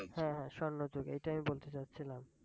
হ্যাঁ হ্যাঁ স্বর্ণ যুগ এটাই বলতে চাচ্ছিলাম।